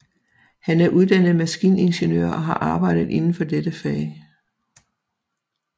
Han er uddannet maskiningeniør og har arbejdet inden for dette fag